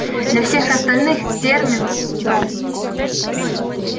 для всех остальных терминус дом